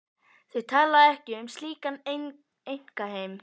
Þau tala ekki um slíkan einkaheim.